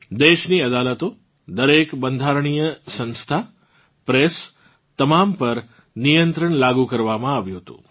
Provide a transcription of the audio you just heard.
દેશની અદાલતો દરેક બંધારણિય સંસ્થા પ્રેસ તમામ પર નિયંત્રણ લાગુ કરવામાં આવ્યું હતું